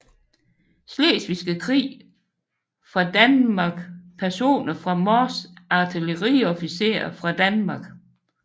Slesvigske Krig fra Danmark Personer fra Mors Artilleriofficerer fra Danmark